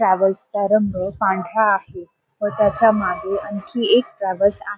ट्रॅवल्सचा रंग पांढरा आहे व त्याच्या मागे आणखी एक ट्रॅवल्स आहे.